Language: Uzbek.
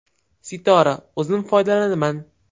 Sitora: O‘zim foydalanaman.